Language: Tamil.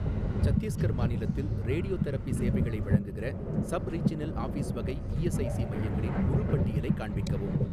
சத்தீஸ்கர் மாநிலத்தில் ரேடியோதெரபி சேவைகளை வழங்குகிற சப் ரீஜினல் ஆஃபீஸ் வகை இஎஸ்ஐசி மையங்களின் முழுப் பட்டியலையும் காண்பிக்கவும்.